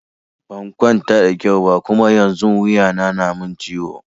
Ban kwanta da kyau ba Kuma yanzun wuya na na min ciwo.